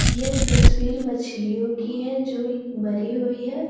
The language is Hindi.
यह तस्वीर मछलियों की है जो मरी हुई है।